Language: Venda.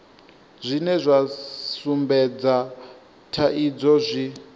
zwine zwa sumbedza thaidzo zwi